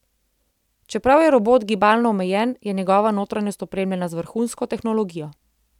Čeprav je robot gibalno omejen, je njegova notranjost opremljena z vrhunsko tehnologijo.